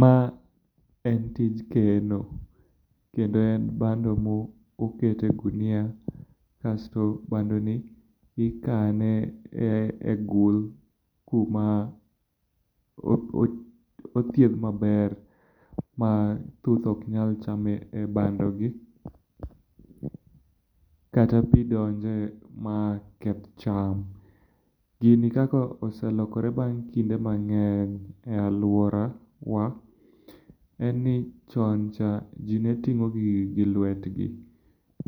Ma en tij keno kendo en bando ma oket e ogunia kasto bandoni ikane egul kuma othiedh maber ma thuth ok nyal chame bandogi, kata pi donje ma keth cham. Gini kaka selokore bang' kinde mang'eny e aluorawa, en ni chon cha ji ne timo gigi gilwetgi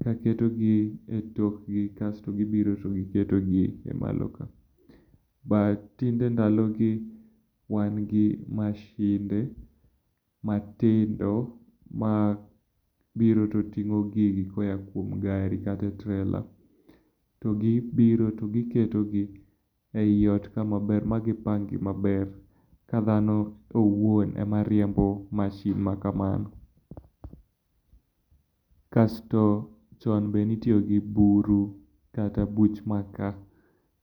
ka ketogi etokgi, kasto gibiro to giketogi e malo ka. But tinde ndalogi wan gi masinde matindo mabiro to ting'o gigi koa e gari kata e trailer. Gibiro to giketogi eiot ka magipang gi maber, ka dhano owuon ema riembo masin makamano. Kasto chon be ne itiyo gi buru, kata buch maka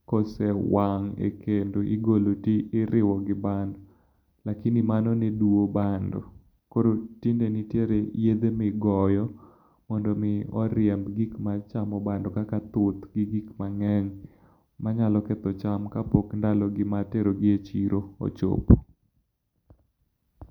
kosewang' e kendo igolo to idhi iriwo gi bando lakini mano ne duwo bando koro tinde nitiere yedhe migoyo mondo mi oriemb gik maketho bando kaka thuth gi gik mang'eny manyalo ketho cham kapok ndalogi mar terogi e chiro ochopo.